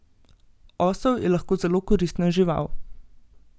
Osel je lahko zelo koristna žival.